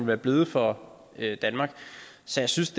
være blevet for danmark så jeg synes